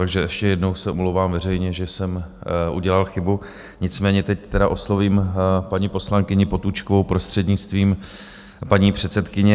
Takže ještě jednou se omlouvám veřejně, že jsem udělal chybu, nicméně teď tedy oslovím paní poslankyni Potůčkovou prostřednictvím paní předsedkyně.